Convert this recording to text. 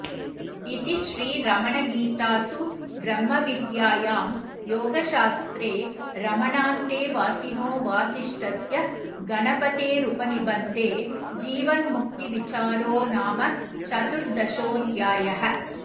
इति श्रीरमणगीतासु ब्रह्मविद्यायां योगशास्त्रे रमणान्तेवासिनो वासिष्ठस्य गणपतेरुपनिबन्धे जीवन्मुक्तिविचारो नाम चतुर्दशोऽध्यायः